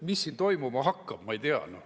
Mis siin toimuma hakkab, ma ei tea.